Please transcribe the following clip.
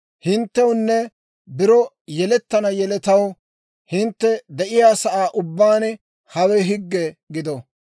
« ‹Hinttewunne biro yelettana yeletaw, hintte de'iyaasaa ubbaan hawe higge gido.